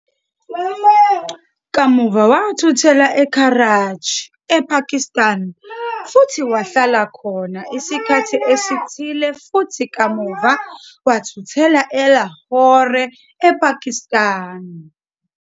Kamuva wathuthela eKarachi, ePakistan futhi wahlala khona isikhathi esithile futhi kamuva wathuthela eLahore, ePakistan.